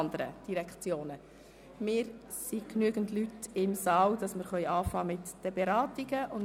Es befinden sich genügend Leute im Saal, um mit den Beratungen zu beginnen.